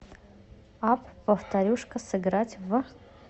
апп повторюшка сыграть в